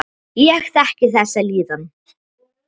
Ég þekki þessa líðan.